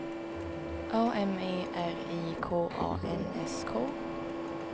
A M E R I K A N S K